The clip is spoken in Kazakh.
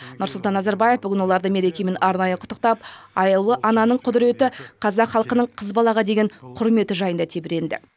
нұрсұлтан назарбаев бүгін оларды мерекемен арнайы құттықтап аяулы ананың құдіреті қазақ халқының қыз балаға деген құрметі жайында тебіренді